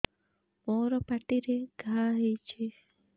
ମୋର ପାଟିରେ ଘା ହେଇଚି